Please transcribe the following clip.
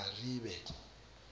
aribe